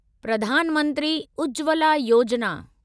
Pradhan Mantri Ujjwala Yojana